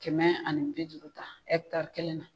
Kɛmɛ ani bi duuru ta kelen na